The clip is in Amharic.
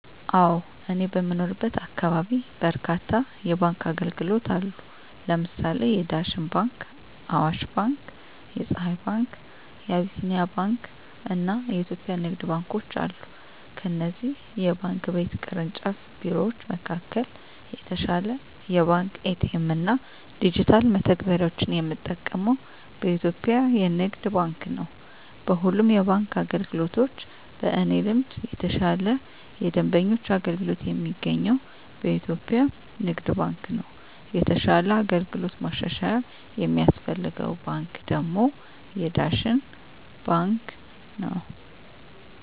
አወ እኔ በምኖርበት አካባቢ በርካታ የባንክ አገልግሎት አሉ ለምሳሌ የዳሽን ባንክ :አዋሽ ባንክ :የፀሀይ ባንክ : የአቢሲኒያ ባንክ አና የኢትዮጵያ ንግድ ባንኮች አሉ ከእነዚህ የባንክ ቤት ቅርንጫፍ ቢሮወች መካከል የተሻለ የባንክ ኤ.ቲ.ኤ.ም እና ዲጅታል መተግበሪያወችን የምጠቀመው በኢትዮጵያ የንግድ ባንክ ነው። በሁሉም የባንክ አገልግሎቶች በእኔ ልምድ የተሻለ የደንበኞች አገልግሎት የሚገኘው በኢትዮጵያ ንግድ ባንክ ነው የተሻለ አገልግሎት ማሻሻያ የሚያስፈልገው ባንክ ደግሞ የዳሽን ባንክ ነው።